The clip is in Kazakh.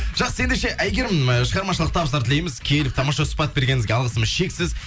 жақсы ендеше әйгерім ы шығармашылық табыстар тілейміз келіп тамаша сұхбат бергеніңізге алғысымыз шексіз